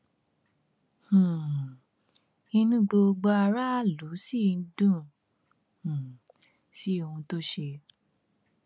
um inú gbogbo aráàlú sì dùn um sí ohun tó ṣe